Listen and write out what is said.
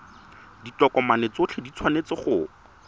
ditokomane tsotlhe di tshwanetse go